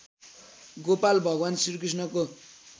गोपाल भगवान् श्रीकृष्णको